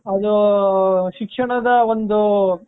ಅದು ಶಿಕ್ಷಣದ ಒಂದು .